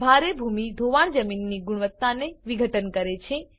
ભારે ભૂમિ ધોવાણ જમીનની ગુણવત્તાને વિઘટન કરે છે